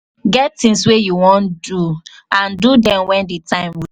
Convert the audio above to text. get things wey you wan do and do dem when di time